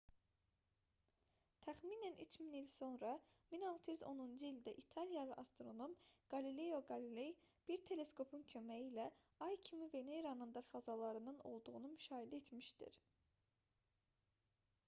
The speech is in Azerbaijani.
təxminən 3000 il sonra 1610-cu ildə italiyalı astronom qalileo qaliley bir teleskopun köməyi ilə ay kimi veneranın da fazalarının olduğunu müşahidə etmişdir